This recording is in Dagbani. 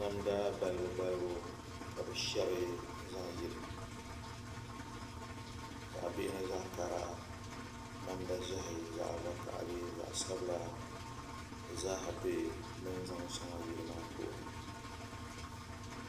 Namda balibu balibu ka bi shɛbi n zaŋ yili zaɣ bihi ni zaɣ kara namda ʒiɛhi zaɣ vakaɣali zaɣ sabila di zaaha bɛ bi ni zaŋ shɛli yili maa puuni